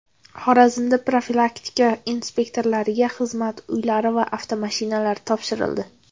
Xorazmda profilaktika inspektorlariga xizmat uylari va avtomashinalar topshirildi .